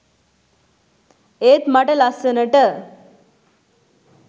ඒත් මට ලස්සනට